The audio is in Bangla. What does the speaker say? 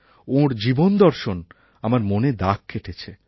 ওঁর জীবনদর্শন আমার মনে দাগ কেটেছে